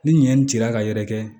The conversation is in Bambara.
Ni ɲɛ nin cira ka yɛrɛ kɛ